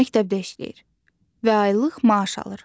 Məktəbdə işləyir və aylıq maaş alır.